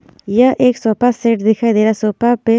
यह एक sofa set दिखाई दे रहा है सोफा पे--